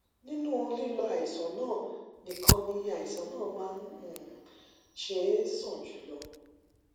nínú lílo àìsàn náà nìkan ni àìsàn náà máa um ń ṣe é sàn jù lọ